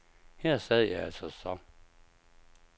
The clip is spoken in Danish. Her sad jeg altså så.